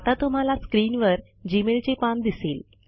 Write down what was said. आता तुम्हाला स्क्रीनवर जी मेलचे पान दिसेल